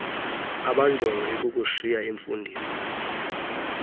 abanjongo ikukushiya imfundiso